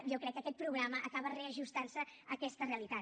jo crec que aquest programa acaba reajustant se a aquesta realitat